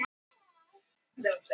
Það hefur ekki virkað